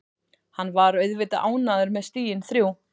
Hann var auðvitað ánægður með stigin þrjú.